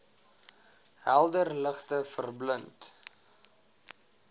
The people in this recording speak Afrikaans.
helder ligte verblind